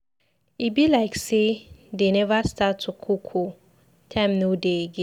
E be like say dey never start to cook ooo. Time no dey again.